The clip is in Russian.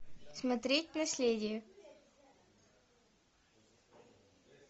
смотреть наследие